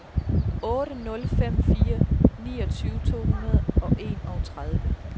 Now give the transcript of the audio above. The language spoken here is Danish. otte nul fem fire niogtyve to hundrede og enogtredive